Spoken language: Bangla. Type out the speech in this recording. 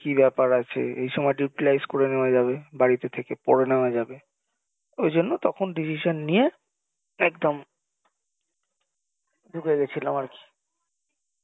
কি ব্যাপার আছে এই সময় utlise করে নেওয়া যাবে বাড়ীতে থেকে পড়ে নেওয়া যাবে ঐজন্যে তখন decision নিয়ে একদম ঢুকে গেছিলাম আরকি